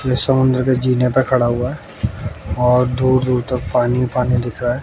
ये समुंद्र के जीने पे खड़ा हुआ और दूर दूर तक पानी ही पानी दिख रहा है।